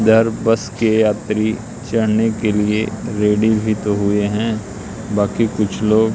इधर बस के यात्री चढ़ने के लिए रेडी भी तो हुए हैं बाकी कुछ लोग--